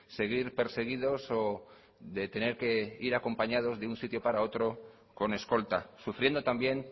seguir perseguidos o de tener que ir acompañados de una sitio para otro con escolta sufriendo también